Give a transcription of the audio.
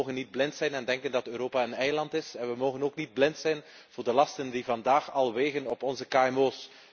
Wij mogen niet blind zijn en denken dat Europa een eiland is en we mogen ook niet blind zijn voor de lasten die vandaag al wegen op onze kmo's.